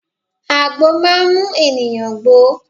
Àgbo máa mú ènìyàn gbó.